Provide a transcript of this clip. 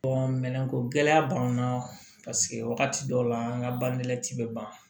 minɛnko gɛlɛya b'an na paseke wagati dɔw la an ka banɛti bɛ ban